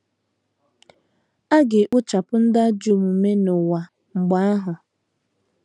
A ga - ekpochapụ ndị ajọ omume n’ụwa mgbe ahụ.